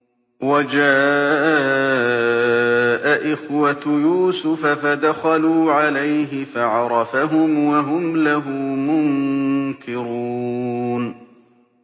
وَجَاءَ إِخْوَةُ يُوسُفَ فَدَخَلُوا عَلَيْهِ فَعَرَفَهُمْ وَهُمْ لَهُ مُنكِرُونَ